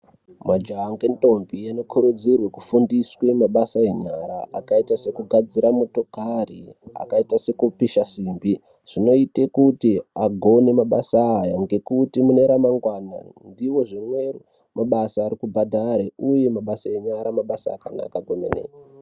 Majaha ngendombi anokurudzirwe kufundiswe mabasa enyara akaita sekugadzira motikari, akaita sekupisha simbi. Zvinoite kuti agone mabasa aya ngekuti mune ramangwana ndiwozvimwe mabasa ari kubhadhare uye mabasa enyara mabasa akanaka kwemene.